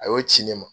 A y'o ci ne ma